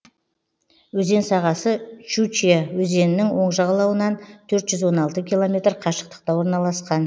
өзен сағасы щучья өзенінің оң жағалауынан төрт жүз он алты километр қашықтықта орналасқан